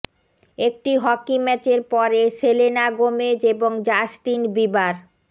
একটি হকি ম্যাচের পরে সেলেনা গোমেজ এবং জাস্টিন বিবার